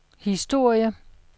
historie